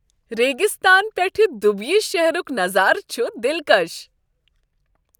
ریگِستان پٮ۪ٹھٕ دُبیی شہرک نظارٕ چھ دلکش ۔